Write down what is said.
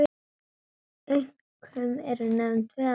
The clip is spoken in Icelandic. Einkum eru nefnd tvö atriði.